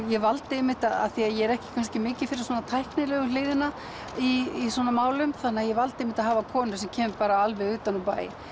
ég valdi einmitt af því að ég er ekki kannski mikið fyrir tæknilegu hliðina í svona málum þannig að ég valdi einmitt að hafa konu sem kemur alveg utan úr bæ